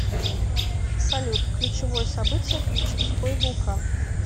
салют ключевое событие ключевской вулкан